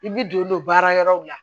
I bi don don baara yɔrɔw la